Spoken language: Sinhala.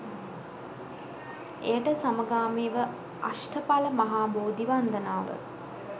එයට සමගාමීව අෂ්ඨඵල මහා බෝධි වන්දනාව